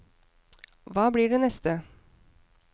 Hva blir det neste?